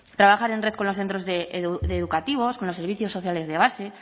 trabajar en red con los centros educativos con los servicios sociales de base